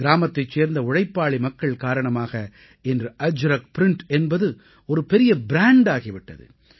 கிராமத்தைச் சேர்ந்த உழைப்பாளி மக்கள் காரணமாக இன்று அஜ்ரக் ப்ரிண்ட் என்பது ஒரு பெரிய ப்ராண்ட் ஆகி விட்டது